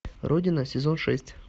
родина сезон шесть